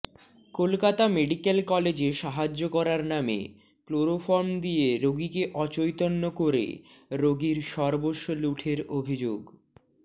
Kolkata medical কলেজে সাহায্য করার নামে ক্লোরোফর্ম দিয়ে রোগীকে অচৈতন্য করে রোগীর সর্বস্ব লুঠের অভিযোগ